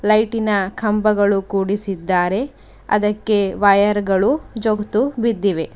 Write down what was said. ಲೈಟಿನ ಕಂಬಗಳು ಕೂಡಿಸಿದ್ದಾರೆ ಅದಕ್ಕೆ ವಯರ್ಗಳು ಜೋತು ಬಿದ್ದಿವೆ.